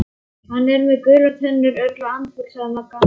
Hann er með gular tennur, örugglega andfúll sagði Magga.